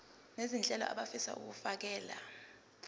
nezentela abafisa uukfakela